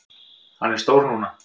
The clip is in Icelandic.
Hann er stór núna.